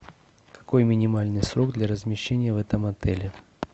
какой минимальный срок для размещения в этом отеле